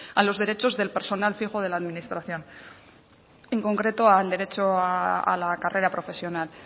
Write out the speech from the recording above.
a los derechos del personal fijo de la administración en concreto al derecho a la carrera profesional